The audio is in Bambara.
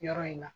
Yɔrɔ in na